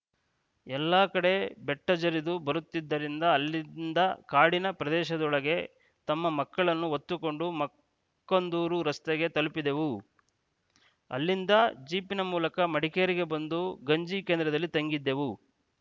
ಎಲ್ಲಾ ಕಡೆ ಬೆಟ್ಟಜರಿದು ಬರುತ್ತಿದ್ದರಿಂದ ಅಲ್ಲಿಂದ ಕಾಡಿನ ಪ್ರದೇಶದೊಳಗೆ ನಮ್ಮ ಮಕ್ಕಳನ್ನು ಹೊತ್ತುಕೊಂಡು ಮಕ್ಕಂದೂರು ರಸ್ತೆಗೆ ತಲುಪಿದೆವು ಅಲ್ಲಿಂದ ಜೀಪಿನ ಮೂಲಕ ಮಡಿಕೇರಿಗೆ ಬಂದು ಗಂಜಿ ಕೇಂದ್ರದಲ್ಲಿ ತಂಗಿದ್ದೇವೆ